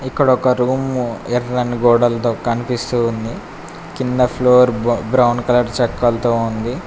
ఇక్కడ ఒక రూమ్ ఎర్రని గోడలతో కనిపిస్తూ ఉంది. కింద ఫ్లోర్ బ బ్రౌన్ కలర్ చెక్కలతో ఉంది.